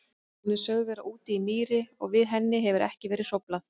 Hún er sögð vera úti í mýri og við henni hefur ekki verið hróflað.